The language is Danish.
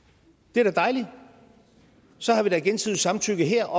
det er da dejligt så har vi da gensidigt samtykke her